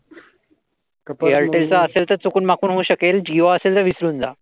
Airtel चा असेल तर चुकून माकून होऊ शकेल. जिओ असेल तर विसरून जा.